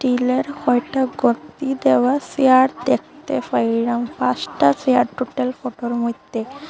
গ্রীলের কয়টা গোদ্দি দেওয়া সেয়ার দেখতে পাইলাম পাঁসটা সেয়ার টোটাল ফোটোর মইধ্যে ।